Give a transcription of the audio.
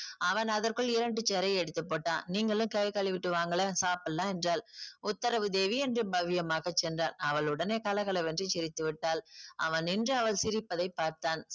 அவன் அதற்குள் இரண்டு chair ஐ எடுத்து போட்டான். நீங்களும் கை கழுவிட்டு வாங்களே சாப்பிடலாம் என்றாள். உத்தரவு தேவி என்று பவ்யமாக சென்றான். அவள் உடனே கலகலவென்று சிரித்து விட்டாள். அவன் நின்று அவள் சிரிப்பதை பார்த்தான்.